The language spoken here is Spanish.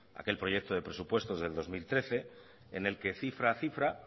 aquel proyecto de presupuestos del dos mil trece en el que cifra a cifra